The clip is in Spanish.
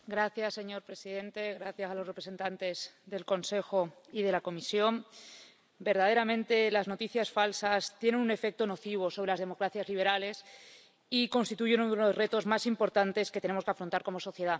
Señor presidente, señores representantes del Consejo y de la Comisión, verdaderamente las noticias falsas tienen un efecto nocivo sobre las democracias liberales y constituyen uno de los retos más importantes que tenemos que afrontar como sociedad.